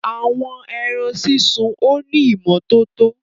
Àwọn ẹrán sísun o ni ìmọ̀tọ̀tọ